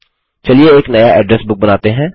चलिए एक नया एड्रेस बुक बनाते हैं